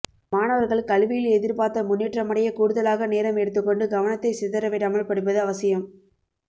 மாணவர்கள் கல்வியில் எதிர்பார்த்த முன்னேற்றமடைய கூடுதலாக நேரம் எடுத்துக்கொண்டு கவனத்தை சிதற விடாமல் படிப்பது அவசியம்